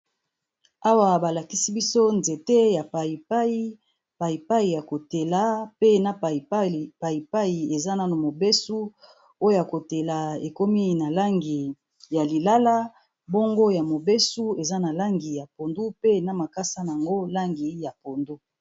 Aiwa ba lakisi biso nzete ya payipayi, payipayi ya ko tela pe na payipayi eza nanu mobeso. Oyo ya ko tela ekomi na langi ya lilala , bongo ya mobesu eza na langi ya pondu pe na makasa n'ango langi ya pondu .